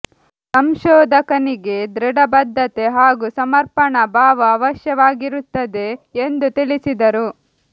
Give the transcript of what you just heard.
ಸಂಶೋಧಕನಿಗೆ ದೃಢ ಬದ್ಧತೆ ಹಾಗೂ ಸಮರ್ಪಣಾ ಭಾವ ಅವಶ್ಯವಾಗಿರುತ್ತದೆ ಎಂದು ತಿಳಿಸಿದರು